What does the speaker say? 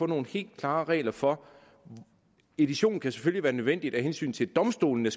nogle helt klare regler for det edition kan selvfølgelig være nødvendigt af hensyn til at domstolene